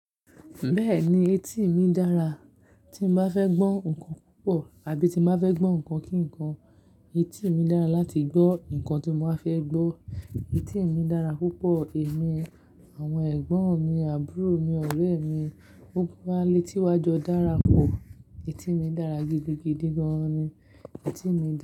Bẹ́ẹ̀ni etí mi dára. Tí mo bá fẹ́ gbọ́ nǹkan púpọ̀ àbí tí mo bá fẹ́ gbọ́ nǹkan kíǹkan, etí mi dára láti gbọ́ nǹkan tí mo ba fẹ́ gbọ́. Etí mi dára púpọ̀. Ẹ̀mí, àwọn ẹ̀gbọ́n mi, àbúrò mi, ọ̀rẹ́ mi, gbogbo wa létí wa jọ dára pọ̀. Etí mi dára gidigidi gan ni. Etí mi dára.